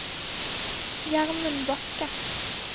Gjermund Bakke